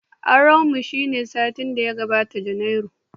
Auren mu shine satin daya ga watan Janairu